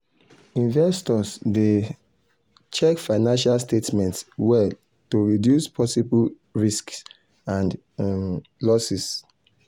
investors dey um check financial statements well to reduce possible risks and um losses